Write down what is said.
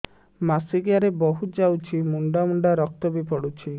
ମାସିକିଆ ରେ ବହୁତ ଯାଉଛି ମୁଣ୍ଡା ମୁଣ୍ଡା ରକ୍ତ ବି ପଡୁଛି